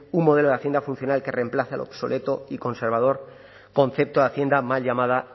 un modelo de hacienda funcional que reemplace al obsoleto y conservador concepto de hacienda mal llamada